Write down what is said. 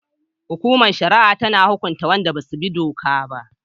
Hukumar shari'a tana hukunta wadanda ba su bi doka ba